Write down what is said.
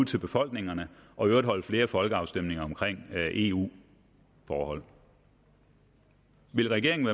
til befolkningerne og i øvrigt afholde flere folkeafstemninger om eu forhold vil regeringen